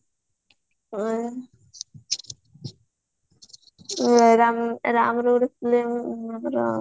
ରାମ୍ ରାମ୍ ର ଗୋଟେ filmy ଆମର